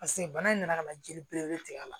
Paseke bana in nana ka na jeli belebele tigɛ a la